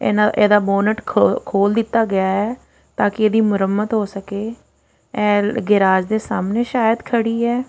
ਇਹਨਾਂ ਇਹਦਾ ਬੋਨਟ ਖੋਲ ਦਿੱਤਾ ਗਿਆ ਆ ਤਾਂ ਕਿ ਇਹਦੀ ਮੁਰੰਮਤ ਹੋ ਸਕੇ ਆਹ ਗਰਾਜ਼ ਦੇ ਸਾਹਮਣੇ ਸ਼ਾਇਦ ਖੜੀ ਆ।